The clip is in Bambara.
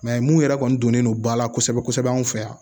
mun yɛrɛ kɔni donnen don ba la kosɛbɛ kosɛbɛ an fɛ yan